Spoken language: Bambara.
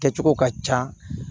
Kɛcogo ka ca